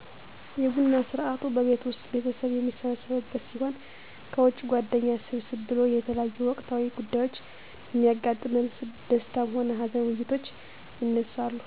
የቡና ስርአቱ በቤት ዉስጥ ቤተሰብ የሚሰበሰብበት ሲሆን ከዉጭ ጓደኛ ሰብሰብ ብሎ የተለያዮ ወቅታዊ ጉዳዮች በሚያጋጥመን ደስታም ሆነ ሀዘን ዉይይቶች ይነሳሉ